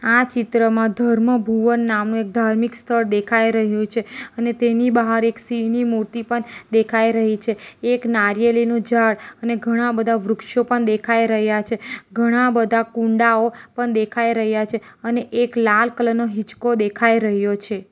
આ ચિત્રમાં ધર્મ ભુવન નામનું એક ધાર્મિક સ્થળ દેખાઈ રહ્યું છે અને તેની બહાર એક સિંહની મૂર્તિ પન દેખાઈ રહી છે એક નારિયેલી નું ઝાડ અને ઘણા બધા વૃક્ષો પન દેખાઈ રહ્યા છે ઘણા બધા કુંડાઓ પન દેખાઈ રહ્યા છે અને એક લાલ કલર નો હિંચકો દેખાય રહ્યો છે.